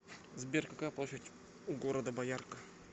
сбер какая площадь у города боярка